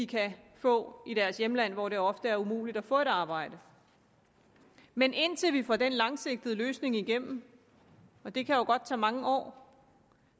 kan få i deres hjemland hvor det ofte er umuligt at få et arbejde men indtil vi får den langsigtede løsning igennem og det kan jo godt tage mange år